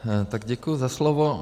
Tak děkuji za slovo.